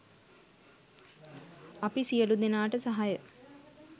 අපි සියලු දෙනාට සහාය